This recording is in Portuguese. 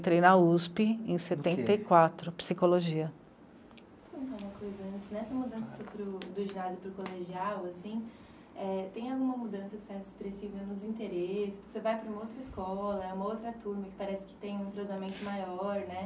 Entrei na u esse pê em setenta e quatro, psicologia. Conta uma coisa antes. Nessa mudança para o, do ginásio para o colegial assim, é... tenha alguma mudança que você acha expressiva nos interesses por que você vai para uma outra escola, uma outra turma parece que tem um entrosamento maior né?